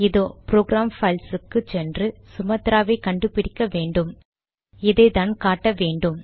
இதோ program files உக்கு சென்று சுமாத்ரா வை கண்டு பிடிக்க வேண்டும் இதைத்தான் காட்ட வேண்டும்